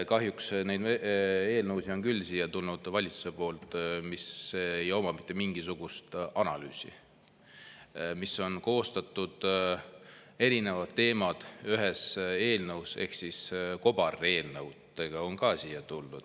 Kahjuks on neid eelnõusid valitsusest küll siia tulnud, millele ei ole tehtud mitte mingisugust analüüsi ja mis on koostatud nii, et erinevad teemad on ühes eelnõus, ehk kobareelnõudega on siia tuldud.